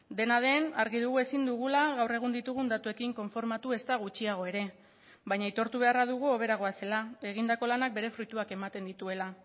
dena den argi dugu ezin dugula gaur egun ditugun datuekin konformatu ezta gutxiago ere baina aitortu beharra dugu hobera goazela egindako lanak bere fruituak ematen dituela